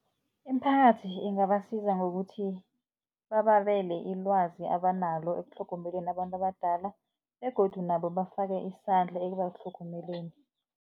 Imiphakathi ingabasiza ngokuthi, babele ilwazi abanalo ekutlhogomeleni abantu abadala begodu nabo bafake isandla ekubatlhogomeleni.